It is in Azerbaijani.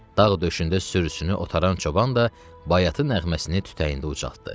Dağ döşündə sürüsünü otaran çoban da bayatı nəğməsini tütəyində ucaltdı.